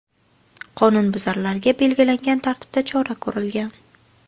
Qonunbuzarlarga belgilangan tartibda chora ko‘rilgan.